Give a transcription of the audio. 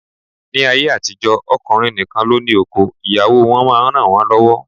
Ni ayé àtijó, ọkùnrin nìkan ló ní oko, ìyàwó wọn máa ń ranwon lọwọ